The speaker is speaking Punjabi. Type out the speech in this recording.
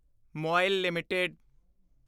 ਮੋਇਲ ਐੱਲਟੀਡੀ